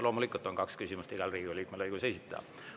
Loomulikult on kaks küsimust igal Riigikogu liikmel õigus esitada.